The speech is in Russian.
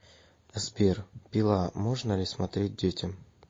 сбер пила можно ли смотреть детям